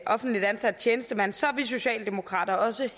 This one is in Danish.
offentligt ansat tjenestemand så er vi socialdemokrater også